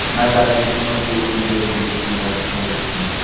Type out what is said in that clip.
ना जाने कितनो की उम्मीदे जुड़ी हुई रहती है इस रूम से।